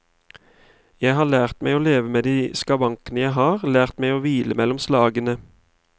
Jeg har lært meg å leve med de skavankene jeg har, lært meg å hvile mellom slagene.